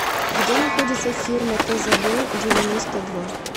где находится фирма тзб девяносто два